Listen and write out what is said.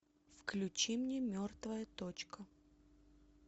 включи мне мертвая точка